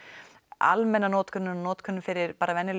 almenna notkunin notkun fyrir